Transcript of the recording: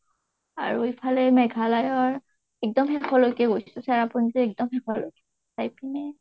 আৰু ইফালে মেঘালয় ৰ একদম শেষলৈকে গৈছো। চেৰাপুঞ্জী একদম শেষলৈ। আৰু ইপিনে